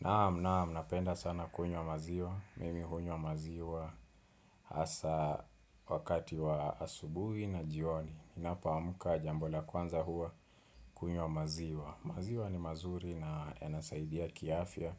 Naam, naam, napenda sana kunywa maziwa, mimi hunywa maziwa hasa wakati wa asubuhi na jioni, ninapo amka jambo la kwanza huwa kunywa maziwa. Maziwa ni mazuri na yanasaidia kiafya,